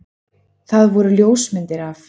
Það voru ljósmyndir af